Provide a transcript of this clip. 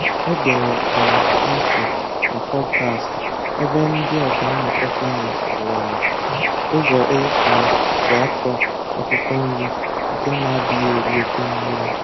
Egere um m ntị na pọdkastị ebe ndị ọkà mmụta sayensị kọwara ụzọ e um ji akọ akwụkwọ nri nke na-adịghị eri oke mmiri